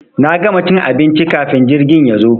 Na gama cin abinci kafin jirgin yazo.